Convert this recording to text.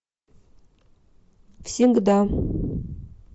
всегда